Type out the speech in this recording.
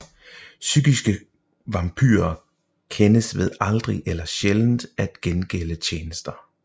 Psykiske vampyrer kendes ved aldrig eller sjældent at gengælde tjenester